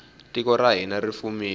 tiko ra hina ri fumile